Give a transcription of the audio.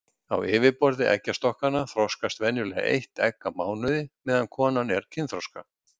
Á yfirborði eggjastokkanna þroskast venjulega eitt egg á mánuði meðan konan er kynþroska.